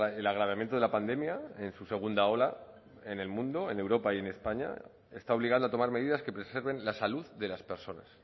el agravamiento de la pandemia en su segunda ola en el mundo en europa y en españa está obligando a tomar medidas que preserven la salud de las personas